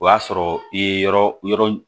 O y'a sɔrɔ i ye yɔrɔ yɔrɔ